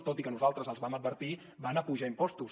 tot i que nosaltres els vam advertir van apujar impostos